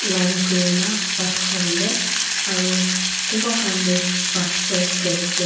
line kurina bhaat khawole aru kunba khan toh bhaat di ase.